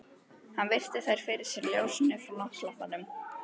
Hann virti þær fyrir sér í ljósinu frá náttlampanum.